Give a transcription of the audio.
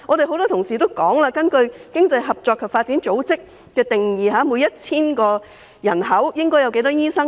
很多議員也提到，根據經濟合作與發展組織的標準，每 1,000 名人口應該有多少名醫生？